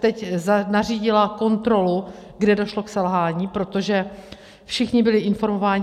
Teď nařídila kontrolu, kde došlo k selhání, protože všichni byli informováni.